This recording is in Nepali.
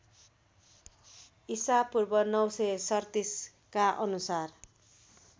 ईपू ९३७ का अनुसार